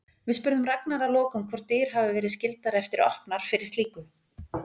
Við spurðum Ragnar að lokum hvort dyr hafi verið skyldar eftir opnar fyrir slíku?